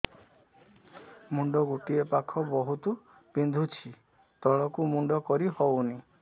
ମୁଣ୍ଡ ଗୋଟିଏ ପାଖ ବହୁତୁ ବିନ୍ଧୁଛି ତଳକୁ ମୁଣ୍ଡ କରି ହଉନି